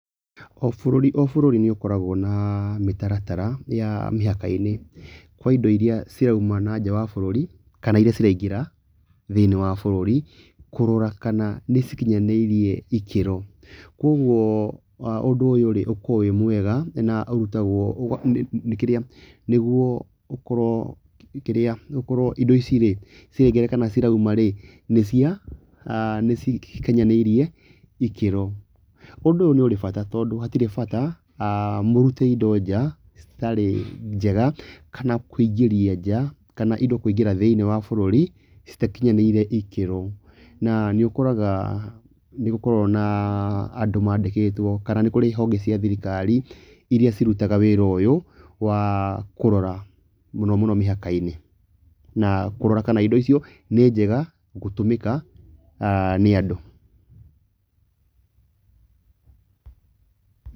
O bũrũri o bũrũri nĩ ũkoragwo na mĩtaratara ya mĩhaka-inĩ kwa indo iria cirauma na nja wa bũrũri kana iria ciraingĩra thĩiniĩ wa bũrũri, kurora kana nĩ cikinyanĩirie ikĩro. Koguo ũndũ ũyũ rĩ ũkoragwo wĩ mwega, na ũrutagwo nĩ kĩrĩa nĩguo gũkorwo, nĩguo kĩrĩa indo ici rĩ ciraingĩra kana cirauma rĩ nĩ cia nĩ cikinyanĩirie ikĩro. Ũndũ ũyũ nĩ ũrĩ bata, tondũ hatirĩ bata mũrute indo nja citarĩ njega kana kũingĩria nja kana indo kũingĩra thĩiniĩ wa bũrũri itakinyanĩire ikĩro. Na nĩ ũkoraga nĩ gũkoragwo na andũ mandĩkĩtwo kana nĩ kũrĩ ihonge cia thirikari iria cirutaga wĩra ũyũ, wa kũrora mũno mũno mĩhaka-inĩ. Na kũrora kana indo icio nĩ njega gũtũmĩka nĩ andũ.